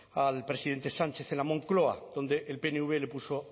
al presidente sánchez en la moncloa donde el pnv le puso